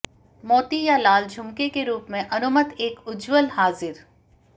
मोती या लाल झुमके के रूप में अनुमत एक उज्ज्वल हाजिर